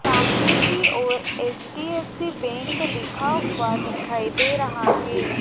सामने की ओर एच_डी_एफ_सी बैंक लिखा हुआ दिखाई दे रहा है।